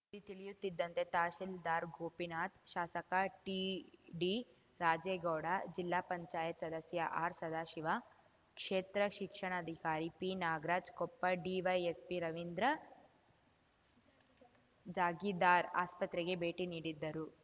ಸುದ್ದಿ ತಿಳಿಯುತ್ತಿದ್ದಂತೆ ತಹಸೀಲ್ದಾರ್‌ ಗೋಪಿನಾಥ್‌ ಶಾಸಕ ಟಿಡಿರಾಜೇಗೌಡ ಜಿಲ್ಲಾ ಪಂಚಾಯತ್ ಸದಸ್ಯ ಆರ್‌ಸದಾಶಿವ ಕ್ಷೇತ್ರ ಶಿಕ್ಷಣಾಧಿಕಾರಿ ಪಿನಾಗರಾಜ್‌ ಕೊಪ್ಪ ಡಿವೈಎಸ್‌ಪಿ ರವೀಂದ್ರಜಾಗೀದಾರ್‌ ಆಸ್ಪತ್ರೆಗೆ ಭೇಟಿ ನೀಡಿದ್ದರು